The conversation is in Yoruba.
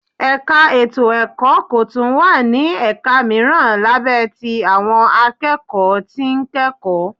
Ẹ̀ka ètò ẹ̀kọ́ kọọ́ tún wá ní ẹ̀ka mìíràn lábẹ́ tí àwọn akẹ́kọ̀ọ́ tí ń kẹ́kọ̀ọ́